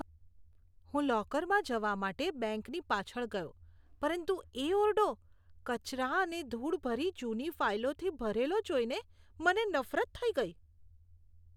હું લોકરમાં જવા માટે બેંકની પાછળ ગયો, પરંતુ એ ઓરડો કચરા અને ધૂળભરી જૂની ફાઈલોથી ભરેલો જોઈને મને નફરત થઈ ગઈ.